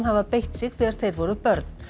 hafa beitt sig þegar þeir voru börn